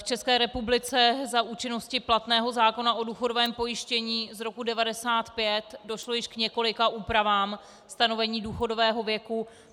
V České republice za účinnosti platného zákona o důchodovém pojištění z roku 1995 došlo již k několika úpravám stanovení důchodového věku.